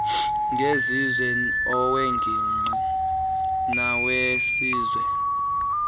ngezizwe aweengingqi nawesizwe